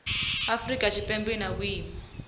afrika tshipembe i na vhuimo